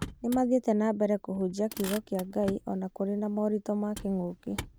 Nĩmathiĩte na mbere kũhunjia kiugo kĩa Ngai ona kũrĩ na moritũ ma kĩng'ũki